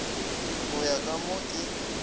go ya ka mo ke